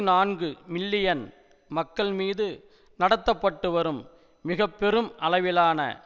நான்குமில்லியன் மக்கள் மீது நடத்த பட்டுவரும் மிக பெரும் அளவிலான